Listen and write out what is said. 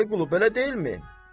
Vəli Qulu, belə deyilmi?